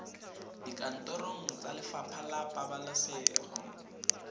dikantorong tsa lefapha la pabalesego